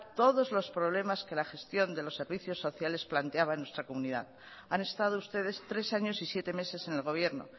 todos los problemas que la gestión de los servicios sociales planteaban en nuestra comunidad han estado ustedes tres años y siete meses en el gobierno